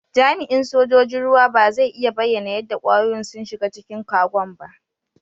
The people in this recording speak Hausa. Jami'in sojoji'n ruwa ba zai iya bayyana yadda kwayoyin sun shiga cikin Kagon' ba.